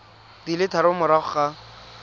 di le tharo morago ga